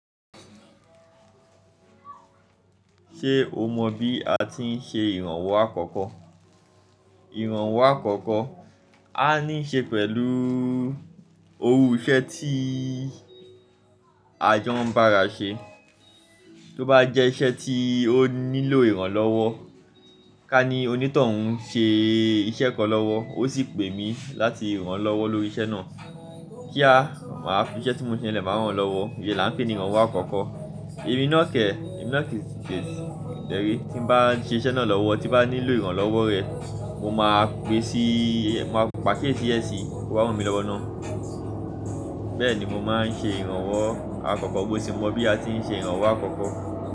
Ṣé o mọ bí a ti ń ṣe ìrànwọ́ àkọ́kọ́? Ìrànwọ́ àkọ́kọ́ á ní ṣe pẹ̀lú ohun iṣẹ́ tí a jọ ń bá ara ṣe, tó bá jẹ́ iṣẹ́ tí ó nílò ìrànlọ́wọ́, ká ní onítọ̀hún ń ṣe iṣẹ́ kan lọ́wọ́, ó sì pè mí láti ràn án lọ́wọ́ lórí iṣẹ́ náà, kí á, màá fi iṣẹ́ tí mo ń ṣe lẹ máa ràn án lọ́wọ́, ìyẹn là ń pè ní ìrànwọ́ àkọ́kọ́. Ẹ̀mi nọ́kẹ̀, ẹ̀mi nọ́kẹ̀ tẹrí, tí bá ń ṣe iṣẹ́ náà lọ́wọ́, tí bá nílò ìrànlọ́wọ́ rẹ, mo máa pe sí i, mo máa pàkí ètí ẹ sí i, kó bá ọ̀run mi lọ́wọ́ ná. Bẹ́ẹ̀ ni mo máa ń ṣe ìrànwọ́ àkọ́kọ́, bó ti mọ bí a ti ń ṣe ìrànwọ́ àkọ́kọ́.